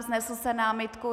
Vznesl jste námitku.